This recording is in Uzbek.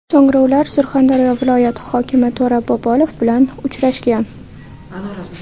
So‘ngra ular Surxondaryo viloyati hokimi To‘ra Bobolov bilan uchrashgan.